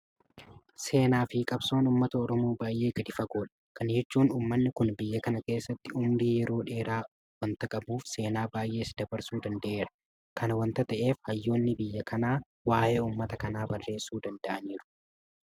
Seenaafi qabsoon uummata oromoo baay'ee gadi fagoodha. Kana jechuun uummanni kun biyya kana keessatti ummurii yeroo dheeraa waanta qabuuf seenaa baay'ees dabarsuu danda'eera. Kana waanta ta'eef hayyoonni biyya kanaa waa'ee uummata kanaa barreessuu danda'aniiru.